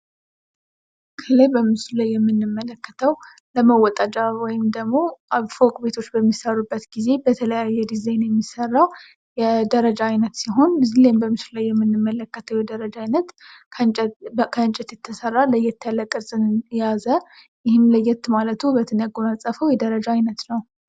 ከላይ በምስሉ ላይ የምንመለከተው ለመወጣጫ ወይም ደግሞ ፎቅ ቤቶች በሚሰሩበት ጊዜ በተለያየ ዲዛይን የሚሰራው የደረጃ አይነት ሲሆን እዚህ በምስሉ ላይ የምንመለከተው የደረጃ አይነት ከእንጨት የተሰራ ለየት ያለ ቅርጽን የያዘ ይህም ለየት ማለቱ ዉበትን ያጎናጸፈው የደረጃ አይነት ነው።